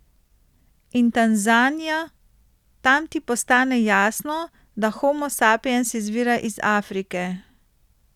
In Tanzanija, tam ti postane jasno, da Homo sapiens izvira iz Afrike.